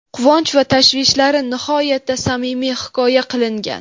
quvonch va tashvishlari nihoyatda samimiy hikoya qilingan.